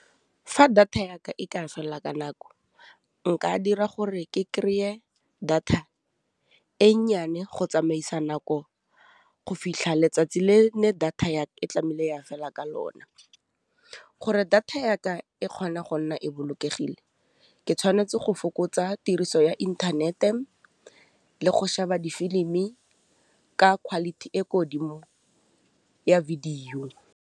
Fa data yaka e ka fella ka nako nka dira gore ke kry-e data e nnyane go tsamaisa nako go fitlha letsatsi le ne data e tlamehile ya fela ka lona gore data yaka e kgona go nna e bolokegile, ke tshwanetse go fokotsa tiriso ya inthanete le go sheba difilimi ka quality e ko godimo ya video.